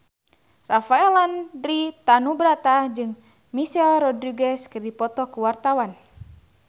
Rafael Landry Tanubrata jeung Michelle Rodriguez keur dipoto ku wartawan